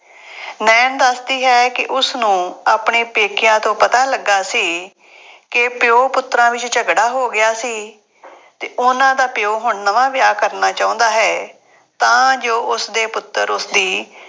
ਨਾਇਣ ਦੱਸਦੀ ਹੈ ਕਿ ਉਸਨੂੰ ਆਪਣੇ ਪੇਕਿਆਂ ਤੋਂ ਪਤਾ ਲੱਗਾ ਸੀ ਕਿ ਪਿਉ ਪੁੱਤਰਾਂ ਵਿੱਚ ਝਗੜਾ ਹੋ ਗਿਆ ਸੀ ਅਤੇ ਉਹਨਾ ਦਾ ਪਿਉ ਹੁਣ ਨਵਾਂ ਵਿਆਹ ਕਰਨਾ ਚਾਹੁੰਦਾ ਹੈ, ਤਾਂ ਜੋ ਉਸਦੇ ਪੁੱਤਰ ਉਸਦੀ